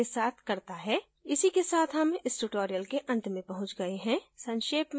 इसी के साथ हम इस tutorial के अंत में पहुँच गए हैं संक्षेप में